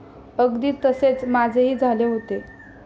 अगदी तसेच माझेही झाले होते.